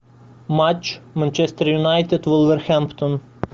матч манчестер юнайтед вулверхэмптон